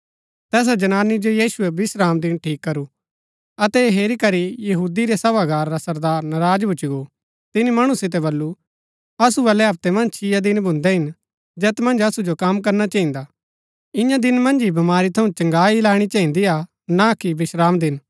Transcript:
तैसा जनानी जो यीशुऐ विश्रामदिन ठीक करु अतै ऐह हेरी करी यहूदी रै सभागार रा सरदार नराज भूच्ची गो तिनी मणु सितै बल्लू असु बल्लै हप्तै मन्ज छिया दिन भून्दै हिन जैत मन्ज असु जो कम करना चहिन्दा ईयां दिन मन्ज ही बमारी थऊँ चंगाई लैणी चहिन्दीआ ना कि विश्रामदिन